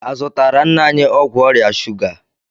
A zụtaara nna anyị ọgwụ ọrịa shuga?